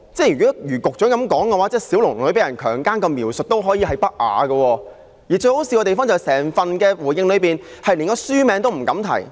如果如局長所說，那麼小龍女被強姦的描述也可屬不雅，而最可笑的是，政府在整個主體答覆中連書名也不敢提。